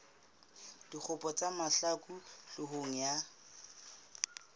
dikgopo tsa mahlaku hloohong ya